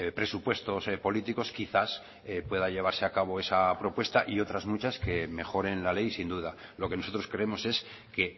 presupuestos políticos quizás pueda llevarse a cabo esta propuesta y otras muchas que mejoren la ley sin duda lo que nosotros creemos es que